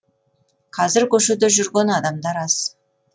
қазір көшеде жүрген адамдар аз